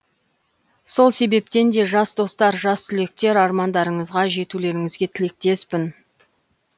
сол себептен де жас достар жас түлектер армандарыңызға жетулеріңізге тілектеспін